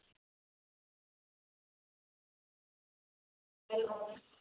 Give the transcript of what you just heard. Hello